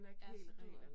Ja, så duer det